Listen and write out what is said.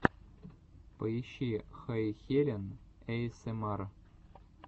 поищи хэйхелен эйэсэмар